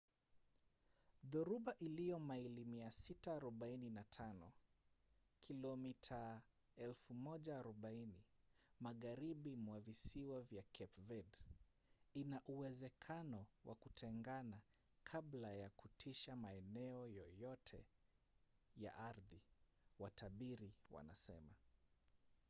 dhoruba iliyo maili 645 kilomita 1040 magharibi mwa visiwa vya cape verde ina uwezekano wa kutengana kabla ya kutisha maeneo yoyote ya ardhi watabiri wanasema